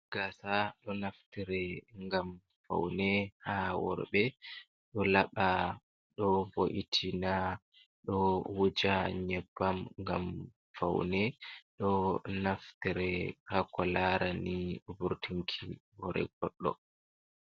Gaasa. ɗo naftire ngam faune haa worɓe ɗo laɓa, ɗo vo’itina, ɗo wuja nyebbam ngam faune. Ɗo naftire haa ko larani vurtinki hoore goɗɗo.